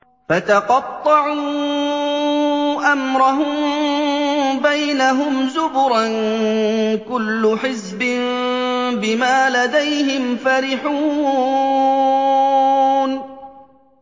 فَتَقَطَّعُوا أَمْرَهُم بَيْنَهُمْ زُبُرًا ۖ كُلُّ حِزْبٍ بِمَا لَدَيْهِمْ فَرِحُونَ